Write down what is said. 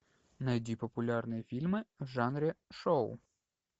найди популярные фильмы в жанре шоу